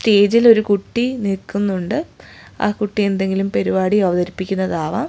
സ്റ്റേജിൽ ഒരു കുട്ടി നിൽക്കുന്നുണ്ട് ആ കുട്ടി എന്തെങ്കിലും പെരുപാടി അവതരിപ്പിക്കുന്നത് ആവാം.